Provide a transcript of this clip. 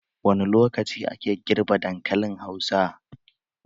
Wani lokaci ake girbe dankalin hausa?.